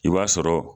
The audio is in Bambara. I b'a sɔrɔ